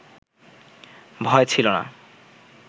ভয় ছিল না,